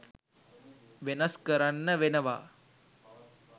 වෙනස් කරන්න වෙනවා